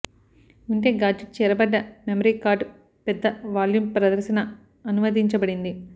ఉంటే గాడ్జెట్ చేర్చబడ్డ memory card పెద్ద వాల్యూమ్ ప్రదర్శన అనువదించబడింది